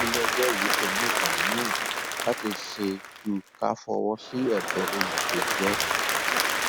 iléẹjọ yìí kò ní nǹkan míín láti ṣe ju ká fọwọ sí ẹbẹ olùpẹjọ